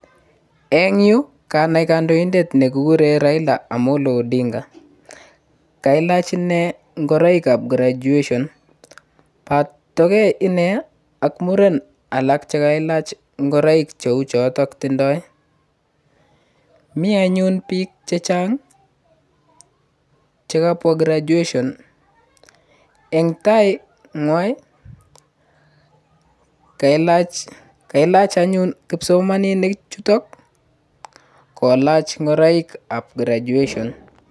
En yu kanai kandoindet nekikuren Raila Amolo Odinga kailach inee ngoroikab graduations botokee inee ak muren alak chekailach ngoroik cheuchotok tindoi mianyun biik chechang' chekapwa graduation en tainywa kailach anyun kipsomaninik chutok kolach ngoroikab graduation.